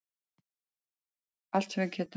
Allt sem við getum.